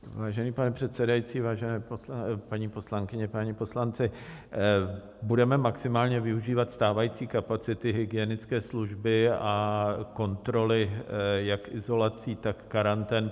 Vážený pane předsedající, vážené paní poslankyně, páni poslanci, budeme maximálně využívat stávající kapacity hygienické služby a kontroly jak izolací, tak karantén.